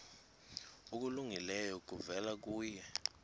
okulungileyo kuvela kuye